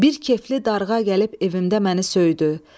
Bir kefli darğa gəlib evimdə məni söydü.